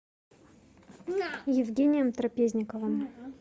евгением трапезниковым